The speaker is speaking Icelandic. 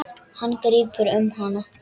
Hann grípur um hana.